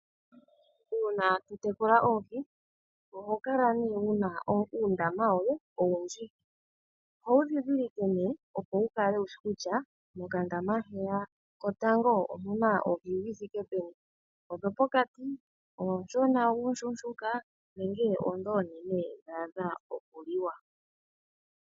Uuna totekula oohi oho kala ne wuna uundama woye owundji. Oho wu ndhindhilike ne opo wu kale wushi kutya mokandama heya kotango omuna oohi dhi thike peni odho pokati oonshona uushuushuka nenge oondhi oonene dhaadha oku liwa.